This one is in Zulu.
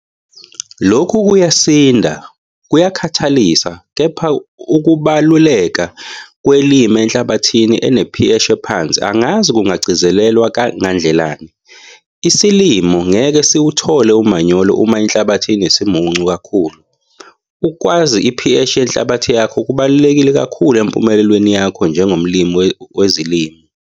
Lokhu kuyasinda futhi kuyakhathalisa - kepha ukubaluleka kwe-lime enhlabathini ene-pH ephansi angazi kungagcizelwa ngandlelani - isilimo ngeke siwuthole umanyolo uma inhlabathi inesimuncu kakhulu. Ukwazi i-pH yenhlabathi yakho kubaluleke kakhulu empumelelweni yakho njengomlimi wezilimo.